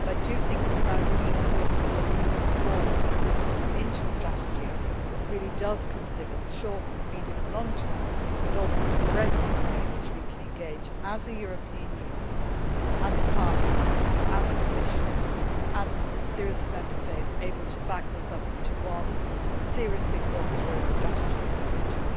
It is now really important that we move forward into a strategy that really does consider the short, medium and long term but also the breadth of the way in which we can engage as a European Union, as a Parliament, as a Commission and as a series of Member States able to pack this up into one seriously thought through strategy for the future.